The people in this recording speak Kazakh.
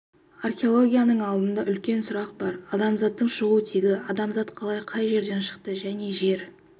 археологияның алдында үлкен сұрақ бар адамзаттың шығу тегі адамзат қалай қай жерден шықты және жер